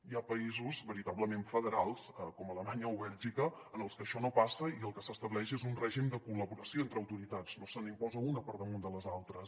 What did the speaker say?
hi ha països veritablement federals com alemanya o bèlgica en els que això no passa i el que s’estableix és un règim de col·laboració entre autoritats no se n’imposa una per da·munt de les altres